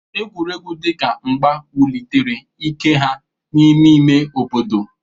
Egwuregwu dị ka mgba wulitere ike ha n'ime ime obodo.